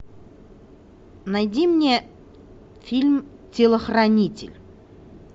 найди мне фильм телохранитель